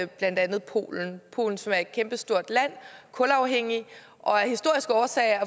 blandt andet polen polen som er et kæmpestort land kulafhængigt og af historiske årsager